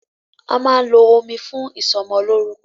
A máa ń lo omi fún ìsọmọlórúkọ.